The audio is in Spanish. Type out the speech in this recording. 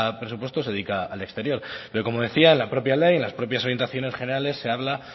presupuesto se dedica al exterior pero como decía la propia ley en las propias orientaciones generales se habla